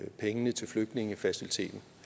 af penge til flygtningefaciliteten